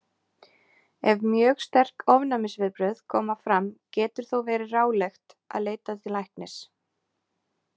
Ef mjög sterk ofnæmisviðbrögð koma fram getur þó verið ráðlegt að leita til læknis.